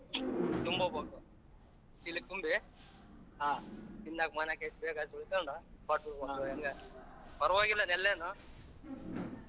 ಚೀಲಕ ತುಂಬಿ ಪರವಾಗಿಲ್ಲ ಅದೆಲ್ಲ ಏನೂ .